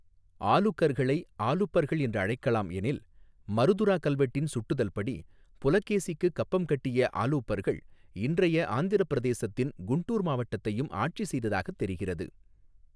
ஆலுகர்களை' 'ஆலுபர்கள்' என்று அழைக்கலாம் எனில், மருதுரா கல்வெட்டின் சுட்டுதல் படி புலகேசிக்குக் கப்பம் கட்டிய ஆலுபர்கள் இன்றைய ஆந்திரப் பிரதேசத்தின் குண்டூர் மாவட்டத்தையும் ஆட்சி செய்ததாகத் தெரிகிறது.